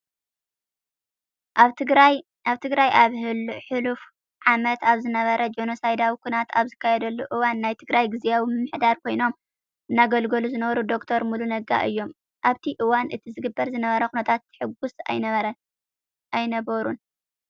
ኣብ ትግራይ ኣብ ህሉፍ ዓመት ኣብ ዝነበረ ጆኖሳይዳዊ ኩናት ኣብ ዝካየደሉ እዋን ናይ ትግራይ ግዚያዊ ምምህዳር ኾይኖም እናገልገሉ ዝነበሩ ዶ/ር ሙሉ ነጋ እዮም። ኣብቲ እዋን እቲ ዝግበር ዝነበረ ኩነታት ሕጉስ ኣይነበሩን።